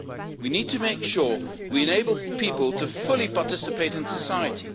We need to make sure we enable people to fully participate in society.